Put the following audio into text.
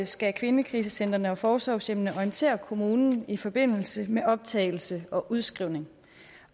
skal kvindekrisecentrene og forsorgshjemmene orientere kommunen i forbindelse med optagelse og udskrivning